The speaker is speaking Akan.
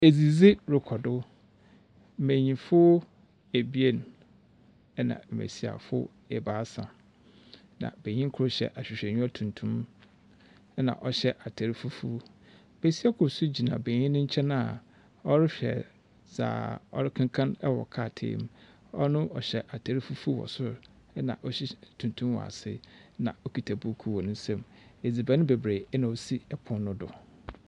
Edzidzi rekɔ do . Mmanyinfo ebien, ɛna mmesiafo ebaasa. Na Banyin kor hyɛ ahwehwɛniwa tuntum, ɛna ɔhyɛ atar fufuw. Besia kor so gyina banyin n'enkyɛn a ɔrehwɛ dza ɔrekenkan ɛwɔ krataa mu, ɔno ɔhyɛ atar fufuw wɔ sor ɛna tuntum wɔ ase ɛna okita buukuu wɔ nensa mu. Edziban bebree ɛna osi ɛpon no do.